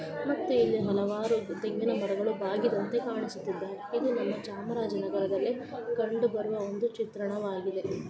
ಮತ್ತೆ ಇಲ್ಲೆ ಹಲವಾರು ತಂಗಿನ ಮರಗಳು ಬಾಗಿದಂತೆ ಕಾಣಿಸುತ್ತಿದಾಗೆ ಇದು ನಮ ಚಾಮರಾಜನಗರದಲ್ಲಿ ಕಂಡು ಬರುವ ಒಂದು ಚಿತ್ರಣವಾಗಿದೆ.